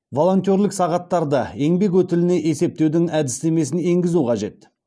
волонтерлік сағаттарды еңбек өтіліне есептеудің әдістемесін енгізу қажет